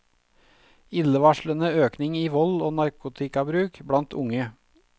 Illevarslende økning i vold og narkotikabruk blant unge.